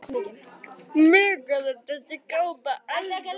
Nú orðið er sagt: Mikið er þessi kápa alltaf falleg